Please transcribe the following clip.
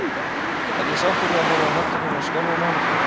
Er ég sáttur við að horfa á hendur mínar skjálfa á mánudögum?